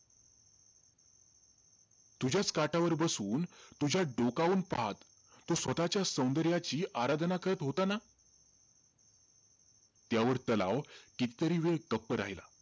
तुझ्याचं काठावर बसून, तुझ्यात डोकावून पाहत स्वतःच्या सौंदर्याची आराधना करत होता ना? त्यावर तलाव कितीतरी वेळ गप्प राहीला.